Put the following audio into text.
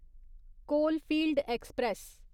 coalfield express